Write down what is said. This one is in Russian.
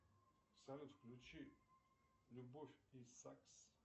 салют включи любовь и сакс